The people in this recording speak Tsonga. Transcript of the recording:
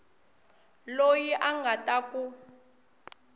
loyi a nga ta ku